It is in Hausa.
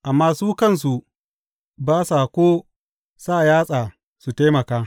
Amma su kansu, ba sa ko sa yatsa su taimaka.